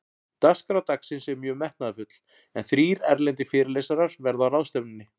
Dagskrá dagsins er mjög metnaðarfull, en þrír erlendir fyrirlesarar verða á ráðstefnunni.